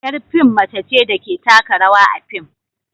Yar fim mace ce da ke taka rawa a fim